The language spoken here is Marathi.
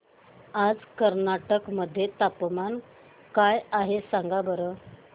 आज कर्नाटक मध्ये तापमान काय आहे सांगा बरं